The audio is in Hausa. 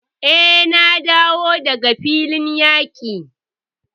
Eh, na dawo daga filin yaqi.